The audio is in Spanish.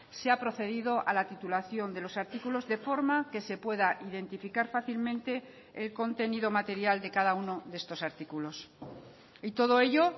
se ha procedido a la titulación de los artículos de forma que se pueda identificar fácilmente el contenido material de cada uno de estos artículos y todo ello